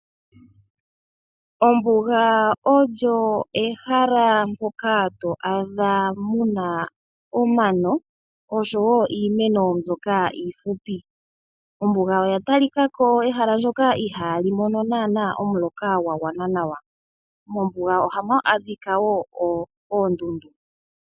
Ombuga olyo ehala moka to adha mu na omano oshowo iimeno mbyoka iifupi. Ombuga oya talika ko ehala ndyoka ihaa li mono omuloka gwa gwana nawa. Mombuga ohamu adhika wo oondundu.